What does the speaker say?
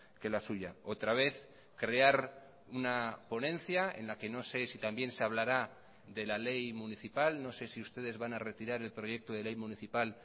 que la suya otra vez crear una ponencia en la que no sé si también se hablará de la ley municipal no sé si ustedes van a retirar el proyecto de ley municipal